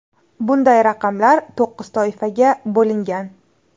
Bunday raqamlar to‘qqiz toifaga bo‘lingan.